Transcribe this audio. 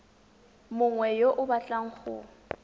mongwe yo o batlang go